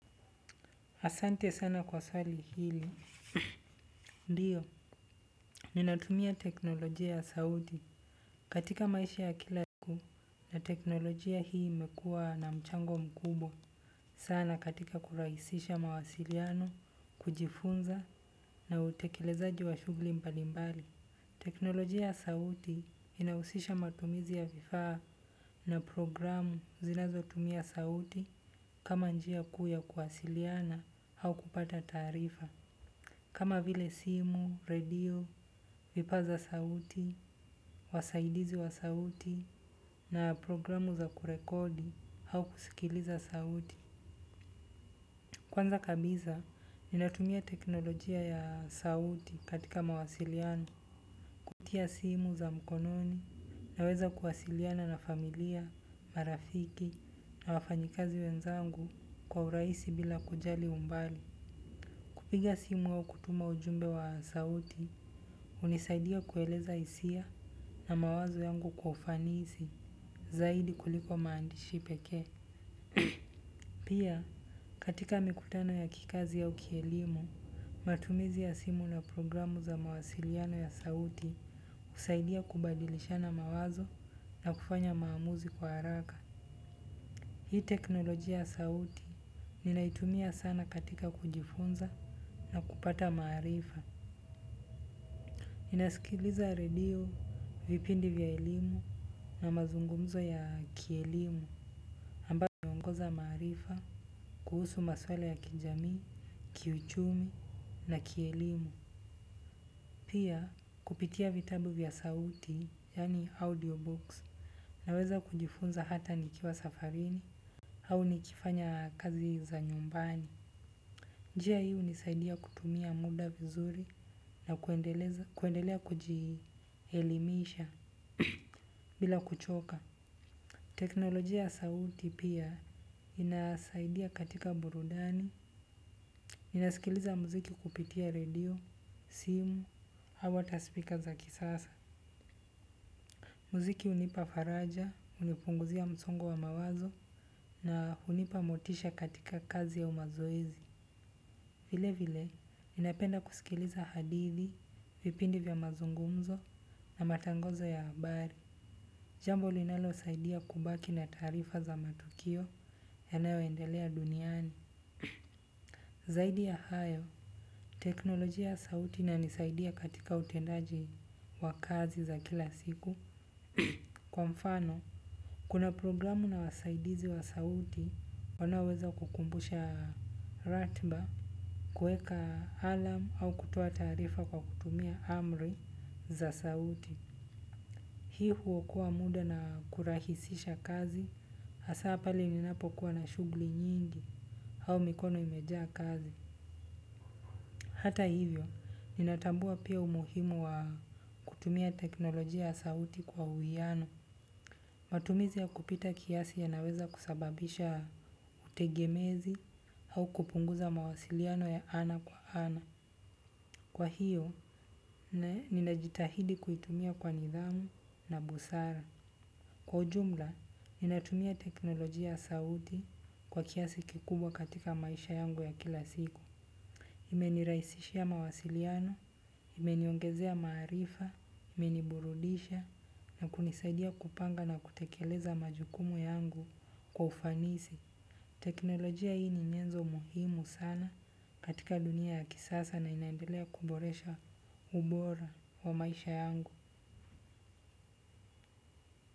Asante sana kwa sari hili. Ndio, ninatumia teknolojia ya sauti katika maisha ya kila siku na teknolojia hii imekua na mchango mkubwa. Sana katika kurahisisha mawasiliano, kujifunza na utekelezaji wa shughuli mbalimbali. Teknolojia ya sauti inahusisha matumizi ya vifaa na programu zinazo tumia sauti kama njia kuu ya kuwasiliana au kupata taarifa. Kama vile simu, radio, vipaza sauti, wasaidizi wa sauti na programu za kurekodi au kusikiliza sauti. Kwanza kabisa, ninatumia teknolojia ya sauti katika mawasiliani. Kupitia simu za mkononi naweza kuwasiliana na familia, marafiki na wafanyikazi wenzangu kwa urahisi bila kujali umbali. Kupiga simu au kutuma ujumbe wa sauti, hunisaidia kueleza hisia na mawazo yangu kwa ufanisi zaidi kuliko maandishi pekee. Pia, katika mikutano ya kikazi au kielimu, matumizi ya simu na programu za mawasiliano ya sauti kusaidia kubadilishana mawazo na kufanya maamuzi kwa haraka. Hii teknolojia ya sauti ninaitumia sana katika kujifunza na kupata maarifa. Ninasikiliza radio, vipindi vya elimu na mazungumzo ya kielimu ambayo hiniongeza maarifa kuhusu maswala ya kijamii, kiuchumi na kielimu. Pia kupitia vitabu vya sauti yani audio box naweza kujifunza hata nikiwa safarini au nikifanya kazi za nyumbani. Njia hii hunisaidia kutumia muda vizuri na kuendelea kujielimisha. Bila kuchoka teknolojia ya sauti pia inasaidia katika burudani ninasikiliza muziki kupitia redio, simu au ata speaker za kisasa. Muziki hunipa faraja, hunipunguzia msongo wa mawazo na hunipa motisha katika kazi ya umazoezi. Vile vile, ninapenda kusikiliza hadithi, vipindi vya mazungumzo na matangazo ya habari. Jambo linalo saidia kubaki na taarifa za matukio yanayo endelea duniani. Zaidi ya hayo, teknolojia ya sauti inanisaidia katika utendaji wa kazi za kila siku. Kwa mfano, kuna programu na wasaidizi wa sauti. Wanaweza kukumbusha ratiba, kueka alarm au kutoa taarifa kwa kutumia amri za sauti. Hii huokoa muda na kurahisisha kazi, hasa pale ninapokuwa na shughuli nyingi au mikono imejaa kazi. Hata hivyo, ninatambua pia umuhimu wa kutumia teknolojia ya sauti kwa uwiano. Matumizi ya kupita kiasi yanaweza kusababisha utegemezi au kupunguza mawasiliano ya ana kwa ana. Kwa hiyo, ninajitahidi kuitumia kwa nidhamu na busara. Kwa ujumla, ninatumia teknolojia ya sauti kwa kiasi kikubwa katika maisha yangu ya kila siku. Imenirahisishia mawasiliano, imeniongezea maarifa, imeniburudisha na kunisaidia kupanga na kutekeleza majukumu yangu kwa ufanisi. Teknolojia hii ni nyenzo muhimu sana katika dunia ya kisasa na inaendelea kuboresha ubora wa maisha yangu.